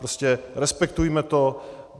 Prostě respektujme to.